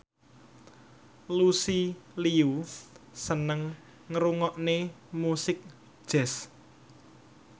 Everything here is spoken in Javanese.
Lucy Liu seneng ngrungokne musik jazz